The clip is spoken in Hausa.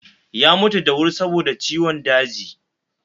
Ya mutu da wuri saboda ciwon daji